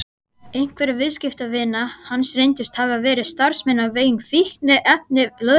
Einhverjir viðskiptavina hans reyndust hafa verið starfsmenn á vegum fíkniefnalögreglunnar.